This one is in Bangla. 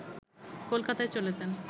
কলকাতায় চলে যান